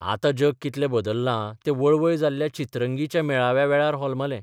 आतां जग कितलें बदल्लां तें वळवय जाल्ल्या 'चित्रंगी 'च्या मेळाव्या वेळार होलमलें.